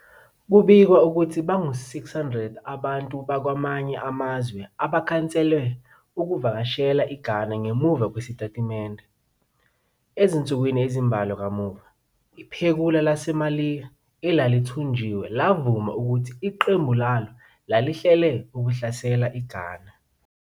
Kubikwa ukuthi bangu-600 abantu bakwamanye amazwe abakhansele ukuvakashela eGhana ngemuva kwesitatimende. Ezinsukwini ezimbalwa kamuva, iphekula laseMaliya elalithunjiwe lavuma ukuthi iqembu lalo lalihlele ukuhlasela iGhana.